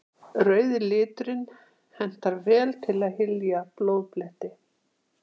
Rauði liturinn hentar vel til að hylja blóðbletti.